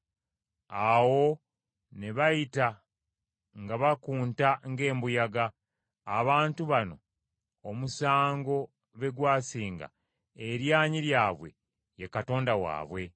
Awo ne bayita nga bakunta ng’embuyaga; abantu bano omusango be gwasinga, eryanyi lyabwe ye katonda waabwe.”